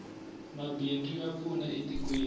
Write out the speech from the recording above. mabindzu ya pfuna e tikweni